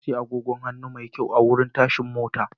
Na sayi agogon hannu mai kyau a wurin tashan mota.